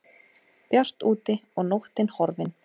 Bjart úti og nóttin horfin.